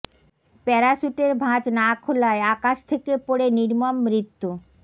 প্যারাসুটের ভাঁজ না খোলায় আকাশ থেকে পড়ে নির্মম মৃত্যু